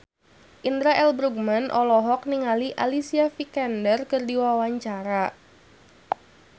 Indra L. Bruggman olohok ningali Alicia Vikander keur diwawancara